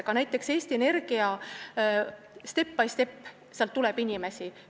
Ka näiteks Eesti Energiast tuleb step by step selliseid inimesi.